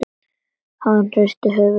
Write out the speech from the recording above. Hann hristir höfuðið og stynur.